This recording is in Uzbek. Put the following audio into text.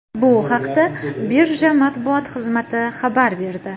Bu haqda Birja matbuot xizmati xabar berdi .